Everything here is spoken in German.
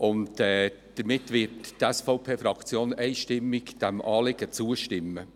Die SVP-Fraktion wird dieser Planungserklärung einstimmig zustimmen.